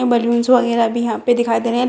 Balloons वगैरा भी यहां पे दिखाई दे रहे हैं।